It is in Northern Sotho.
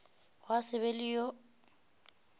gwa se be le yo